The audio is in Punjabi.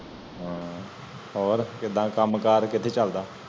ਹਨ ਹੋਰ ਕੀੜਾ ਕਾਮ ਕਰ ਕਿਥੇ ਚਲਦਾ